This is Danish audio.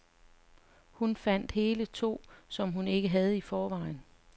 Og hun fandt hele to, som hun ikke havde i forvejen.